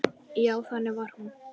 Já, þannig var hún.